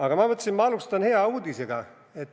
Aga ma mõtlesin, et alustan hea uudisega.